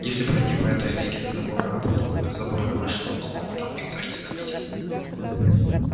если пройти по этой аллейке до забора а потом вдоль забора до нашего дома там никто и не заметит